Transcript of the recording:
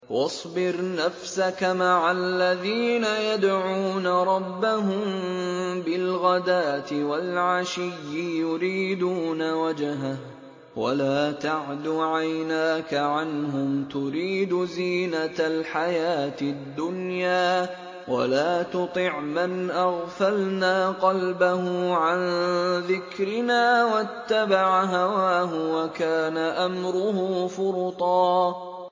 وَاصْبِرْ نَفْسَكَ مَعَ الَّذِينَ يَدْعُونَ رَبَّهُم بِالْغَدَاةِ وَالْعَشِيِّ يُرِيدُونَ وَجْهَهُ ۖ وَلَا تَعْدُ عَيْنَاكَ عَنْهُمْ تُرِيدُ زِينَةَ الْحَيَاةِ الدُّنْيَا ۖ وَلَا تُطِعْ مَنْ أَغْفَلْنَا قَلْبَهُ عَن ذِكْرِنَا وَاتَّبَعَ هَوَاهُ وَكَانَ أَمْرُهُ فُرُطًا